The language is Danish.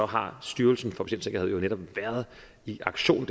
har styrelsen for patientsikkerhed jo netop været i aktion